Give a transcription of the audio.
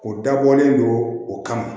O dabɔlen don o kama